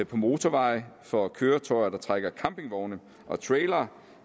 på motorveje for køretøjer der trækker campingvogne og trailere